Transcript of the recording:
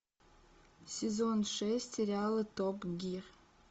сезон шесть сериала топ гир